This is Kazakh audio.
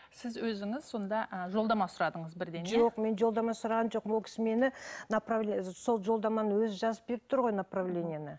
сіз өзіңіз сонда ы жолдама сұрадыңыз бірден иә жоқ мен жолдама сұрағаным жоқ ол кісі мені сол жолдаманы өзі жазып беріп тұр ғой направлениені